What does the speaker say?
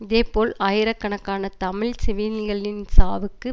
இதே போல் ஆயிரக்கணக்கான தமிழ் சிவிலிகளின் சாவுக்கு